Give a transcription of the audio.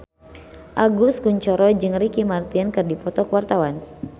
Agus Kuncoro jeung Ricky Martin keur dipoto ku wartawan